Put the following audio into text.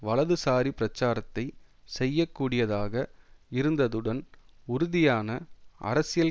வலதுசாரி பிரச்சாரத்தை செய்யக்கூடியதாக இருந்ததுடன் உறுதியான அரசியல்